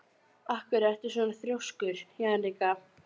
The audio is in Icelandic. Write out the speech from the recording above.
Af hverju ertu svona þrjóskur, Jannika?